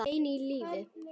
Hann var enn á lífi.